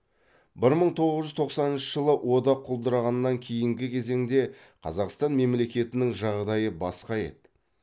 бір мың тоғыз жүз тоқсаныншы жылы одақ құлдырағаннан кейінгі кезеңде қазақстан мемлекетінің жағдайы басқа еді